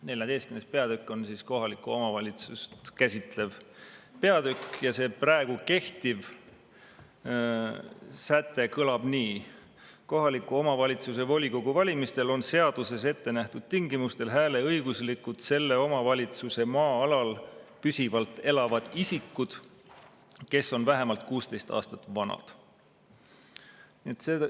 XIV. peatükk on kohalikku omavalitsust käsitlev peatükk ja see praegu kehtiv säte kõlab nii: "Kohaliku omavalitsuse volikogu valimistel on seaduses ettenähtud tingimustel hääleõiguslikud selle omavalitsuse maa-alal püsivalt elavad isikud, kes on vähemalt kuusteist aastat vanad.